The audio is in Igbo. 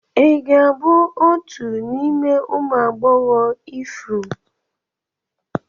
Ị ga-abụ otu n'ime ụmụ agbọghọ ifuru m?